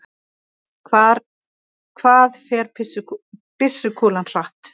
Hvað fer byssukúla hratt?